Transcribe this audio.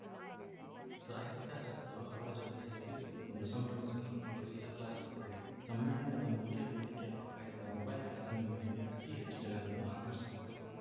ಸಾಹಿತ್ಯಾಸಕ್ತರು ಅವರ ಜೊತೆ ಸೆಲ್ಫಿ ತೆಗೆದುಕೊಂಡು ಸಂಭ್ರಮಿಸಿದರು ಗೊರಿಲ್ಲಾ ಗ್ಲಾಸ್‌ ತಗೊಳ್ಳಿ ಸಮ್ಮೇಳನದ ಮುಖ್ಯ ವೇದಿಕೆಯ ಪಕ್ಕ ಇದ್ದ ಮೊಬೈಲ್‌ ಗ್ಲಾಸಿನ ಮಳಿಗೆ ಅತಿ ಹೆಚ್ಚು ಜನರನ್ನು ಆಕರ್ಷಿಸಿತು